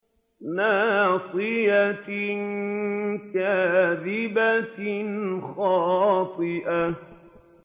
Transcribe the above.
نَاصِيَةٍ كَاذِبَةٍ خَاطِئَةٍ